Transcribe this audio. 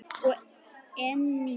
og einnig